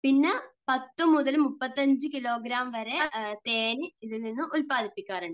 പിന്നെ 10 മുതൽ 35 കിലോഗ്രാം വരെ തേൻ ഇതിൽ നിന്നും ഉൽപ്പാദിപ്പിക്കാറുണ്ട്.